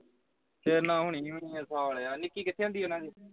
ਤੇਰੇ ਨਾਲ ਹੋ ਹੀ ਨਹੀ ਸਾਲਿਆ ਨਿੱਕੀ ਕਿੱਥੇ ਹੁੰਦੀ ਹੈ ਨਾਉਨ੍ਹਾਂ ਦੀ